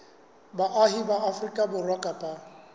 baahi ba afrika borwa kapa